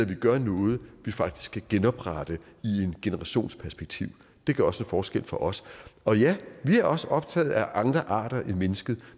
vi gør noget vi faktisk kan genoprette i en generations perspektiv det gør også en forskel for os og ja vi er også optaget af andre arter end mennesket